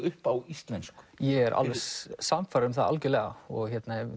upp á íslensku ég er sannfærður um það og